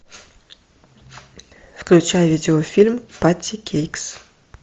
включай видеофильм патти кейкс